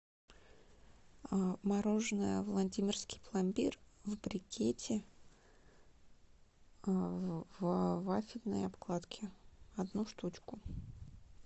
мороженое владимирский пломбир в брикете в вафельной обкладке одну штучку